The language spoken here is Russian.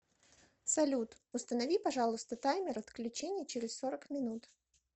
салют установи пожалуйста таймер отключения через сорок минут